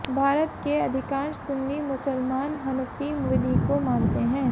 भारत के अधिकांश सुन्नी मुसलमान हनफी विधि को मानते हैं